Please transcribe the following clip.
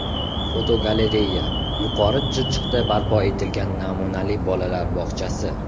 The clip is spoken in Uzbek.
Fotogalereya: Yuqori Chirchiqda barpo etilgan namunali bolalar bog‘chasi.